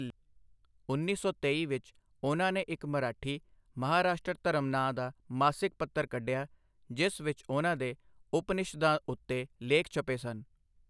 ਉੱਨੀ ਸੌ ਤੇਈ ਵਿੱਚ ਉਹਨਾਂ ਨੇ ਇੱਕ ਮਰਾਠੀ 'ਮਹਾਰਾਸ਼ਟਰ ਧਰਮ' ਨਾਂ ਦਾ ਮਾਸਿਕ ਪੱਤਰ ਕੱਢਿਆ ਜਿਸ ਵਿੱਚ ਉਹਨਾਂ ਦੇ ਉਪਨਿਸ਼ਦਾਂ ਉੱਤੇ ਲੇਖ ਛਪੇ ਸਨ।